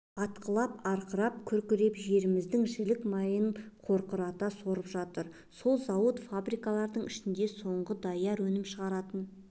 атқылап арқырап-күркреп жеріміздің жілік майын қорқырата сорып жатыр сол зауыт-фабрикалардың ішінде соңғы даяр өнім шығаратын